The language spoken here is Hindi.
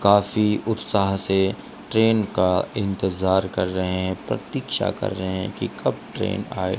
काफी उत्साह से ट्रेन का इंतजार कर रहे हैं प्रतीक्षा कर रहे हैं कि कब ट्रेन आए।